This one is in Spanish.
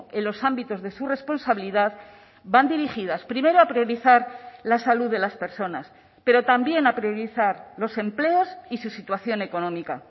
en los ámbitos de su responsabilidad van dirigidas primero a priorizar la salud de las personas pero también a priorizar los empleos y su situación económica